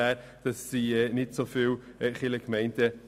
Im Moment haben wir ungefähr 241 Kirchgemeinden.